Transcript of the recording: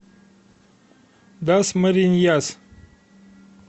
дасмариньяс